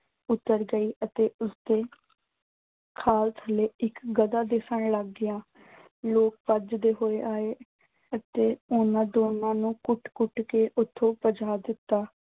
ਉਤਰ ਗਈ ਅਤੇ ਉਸਦੇ ਖੱਲ ਥੱਲੇ ਇੱਕ ਗਧਾ ਦਿਸਣ ਲੱਗ ਗਿਆ। ਲੋਕ ਭੱਜਦੇ ਹੋਏ ਆਏ ਅਤੇ ਉਨ੍ਹਾਂ ਦੋਨਾਂ ਨੂੰ ਕੁੱਟ-ਕੁੱਟ ਕੇ ਉਥੋਂ ਭਜਾ ਦਿੱਤਾ।